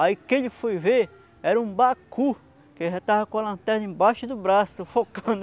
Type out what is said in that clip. Aí o que ele foi ver era um Bacu que já estava com a lanterna embaixo do braço focando.